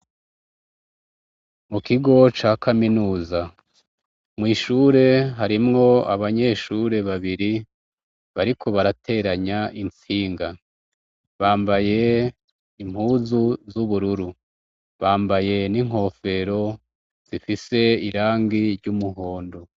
Mu kigo ca Kaminuza. mw'ishure harimwo abanyeshure babiri bariko barateranya intsinga. Bambaye impuzu z'ubururu. Bambaye n'inkofero zifise irangi ry'umuhondo.